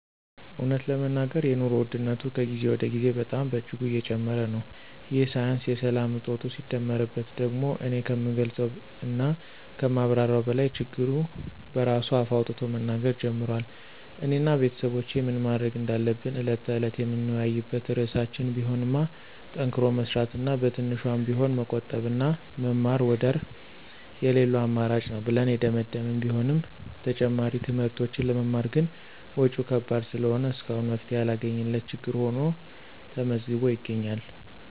እውነት ለመናገር የኑሮ ውድነቱ ከጊዜ ወደ ጊዜ በጣም በእጅጉ እየጨመረ ነው፤ ይህ ሳያንስ የሰላም እጦቱ ሲደመርበት ደግሞ እኔ ከምገልፀው እና ከማብራራው በላይ ችግሩ በራሱ አፍ አውጥቶ መናገር ጀምሯል። እኔ እና ቤተሰቦቼ ምን ማድረግ እንዳለብን ዕለት ተዕለት የምንወያይበት ርዕሳችን ቢሆንማ ጠንክሮ መስራት እና በትንሿም ቢሆን መቆጠብና መማር ወደር የለለው አማራጭ ነው ብለን የደመደመን ቢሆንም ተጨማሪ ትምህርቶችን ለመማር ግን ወጭው ከባድ ስለሆነ እስካሁን መፍትሔ ያላገኘንለት ችግር ሁኖ ተመዝግቦ ይገኛል።